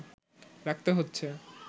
রাখতে হচ্ছে